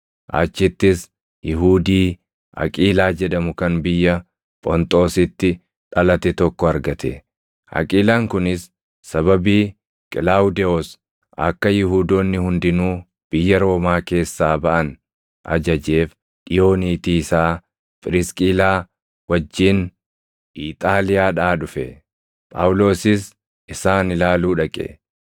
Achittis Yihuudii Aqiilaa jedhamu kan biyya Phonxoositti dhalate tokko argate; Aqiilaan kunis sababii Qilaawudewoos akka Yihuudoonni hundinuu biyya Roomaa keessaa baʼan ajajeef dhiʼoo niitii isaa Phirisqilaa wajjin Iixaaliyaadhaa dhufe. Phaawulosis isaan ilaaluu dhaqe.